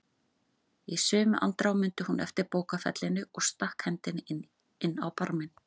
Í sömu andrá mundi hún eftir bókfellinu og stakk hendinni inn á barminn.